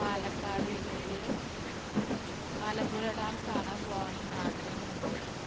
പാലക്കാട് ജില്ലയിലെ മലമ്പുഴ ഡാം കാണാൻ പോകണം ആഗ്രഹമുണ്ട്